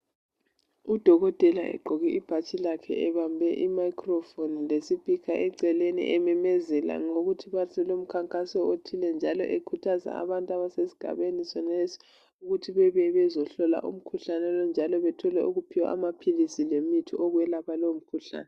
Udokotela ugqoke ibhatshi elimhlophe nke ,uthwele imayikhi yokukhulumisa efundisa izigulane ukubana kufuze beziphathe njani ukuze bengahlali beshlaselwa yimikhuhlane ngasonke iskhathi.